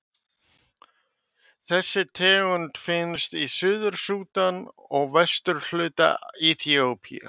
Þessi tegund finnst í Suður-Súdan og suðvesturhluta Eþíópíu.